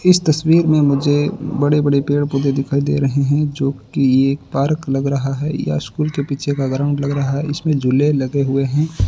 इस तस्वीर में मुझे बड़े-बड़े पेड़-पौधे दिखाई दे रहे हैं जो की एक पार्क लग रहा है या स्कूल के पीछे का ग्राउंड लग रहा है। इसमें झूले लगे हुए हैं।